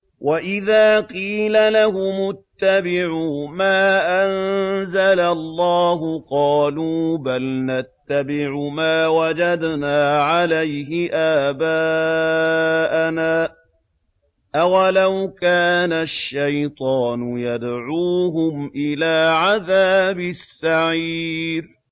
وَإِذَا قِيلَ لَهُمُ اتَّبِعُوا مَا أَنزَلَ اللَّهُ قَالُوا بَلْ نَتَّبِعُ مَا وَجَدْنَا عَلَيْهِ آبَاءَنَا ۚ أَوَلَوْ كَانَ الشَّيْطَانُ يَدْعُوهُمْ إِلَىٰ عَذَابِ السَّعِيرِ